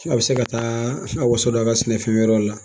A bɛ se ka taa a waso don a ka sɛnɛfɛn wɛrɛw la